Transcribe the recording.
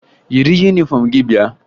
Yiri yunifọmụ gị bịa!